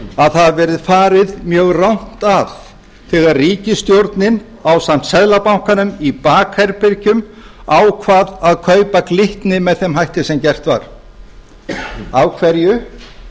að það verði farið mjög rangt að þegar ríkisstjórnin ásamt seðlabankanum í bakherbergjum ákvað að kaupa glitni með þeim hætti sem gert var af hverju